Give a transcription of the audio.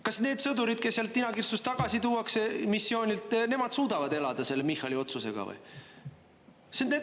Kas need sõdurid, kes seal tinakirstus tagasi tuuakse, missioonilt, nemad suudavad elada selle Michali otsusega või?